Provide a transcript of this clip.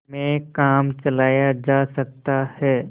में काम चलाया जा सकता है